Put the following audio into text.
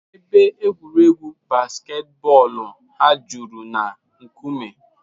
Ebe egwuregwu basketboolu ha juru na nkume.